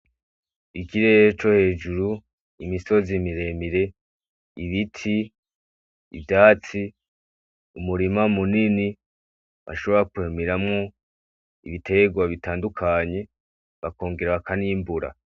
Ikirere cohejuru, imisozi miremire, ibiti, ivyatsi umurima munini ushobora kurimiramwo ibiterwa bitandukanye ukongerako nimvura.